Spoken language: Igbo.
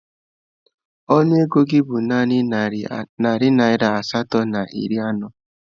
Ọnụ ego gị bụ naanị narị naira asatọ na iri anọ